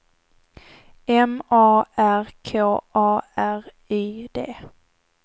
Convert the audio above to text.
M A R K A R Y D